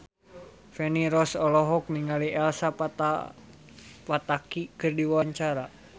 Feni Rose olohok ningali Elsa Pataky keur diwawancara